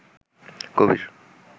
কবির